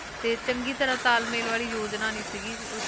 ਤੇ ਚੰਗੀ ਤਰ੍ਹਾਂ ਤਾਲਮੇਲ ਵਾਲੀ ਯੋਜਨਾ ਨੀ ਸੀਗੀ ਉਸ